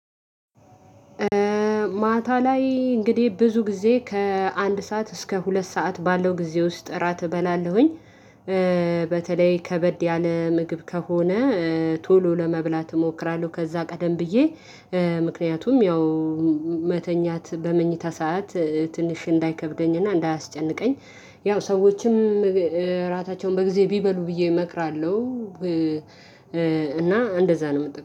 ማታ ላይ እንግዲህ ብዙ ጊዜ ከአንድ ሰዓት እስከ ሁለት ሰዓት ባለው ጊዜ ውስጥ እራት እበላለሁኝ። በተለይ ከበድ ያለ ምግብ ከሆነ። ቶሎ ለመብላት እሞክራለሁ ከዛ ቀደም ብዬ። ምክንያቱም ያው መተኛት በመኝታ ሰዓት ትንሽ እንዳይከብደኝና እንዳያስጨንቀኝ። ያው ሰዎችም እራታቸውን በጊዜ ቢበሉ ብዬ እመክራለሁ። እና እንደዛ ነው የምጠብቀው